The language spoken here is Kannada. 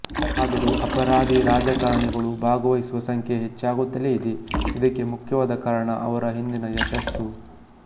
ಆದರೂ ಅಪರಾಧಿರಾಜಕಾರಣಿಗಳು ಭಾಗವಹಿಸುವ ಸಂಖ್ಯೆ ಹೆಚ್ಚಾಗುತ್ತಲೇ ಇದೆ ಇದಕ್ಕೆ ಮುಖ್ಯವಾದ ಕಾರಣ ಅವರ ಹಿಂದಿನ ಯಶಸ್ಸು